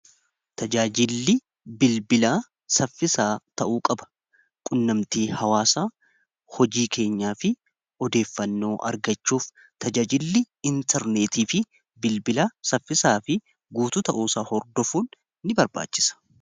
Tajaajilli bilbilaa saffisaa ta'uu qaba. Qunnamtii hawaasa hojii keenyaa fi odeeffannoo argachuuf tajaajilli intarneetii fi bilbilaa saffisaa fi guutuu ta'uusaa hordofuun in barbaachisa.